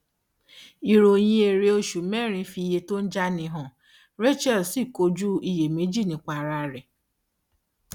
ìròyìn èrè oṣù mẹrin fi iye tó ń jáni hàn rachel sì kojú iyèméjì nípa ara rẹ